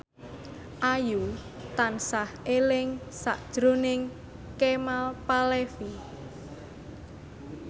Ayu tansah eling sakjroning Kemal Palevi